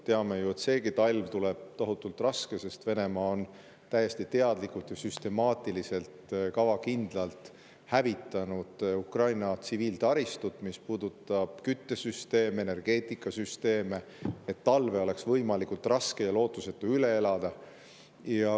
Teame ju, et seegi talv tuleb tohutult raske, sest Venemaa on täiesti teadlikult ja süstemaatiliselt, kavakindlalt hävitanud Ukraina tsiviiltaristut, mis puudutab küttesüsteeme, energeetikasüsteeme, et talve oleks võimalikult raske ja lootusetu üle elada.